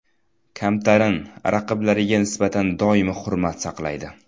Kamtarin, raqiblariga nisbatan doimo hurmat saqlaydi.